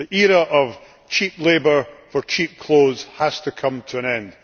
The era of cheap labour for cheap clothes has to come to an end.